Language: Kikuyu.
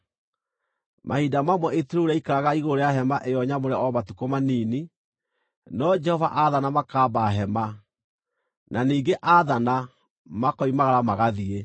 Mahinda mamwe itu rĩu rĩaikaraga igũrũ rĩa Hema-ĩyo-Nyamũre o matukũ manini; no Jehova aathana makaamba hema, na ningĩ aathana, makoimagara magathiĩ.